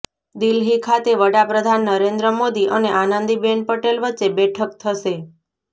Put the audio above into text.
દિલ્હી ખાતે વડાપ્રધાન નરેન્દ્ર મોદી અને આનંદીબેન પટેલ વચ્ચે બેઠક થશે